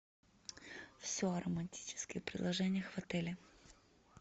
все о романтических предложениях в отеле